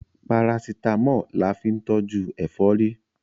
Parasítámọ̀ la fín tọ́jú ẹ̀fọ́rí